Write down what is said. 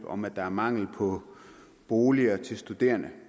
om at der er mangel på boliger til studerende